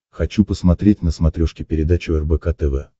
хочу посмотреть на смотрешке передачу рбк тв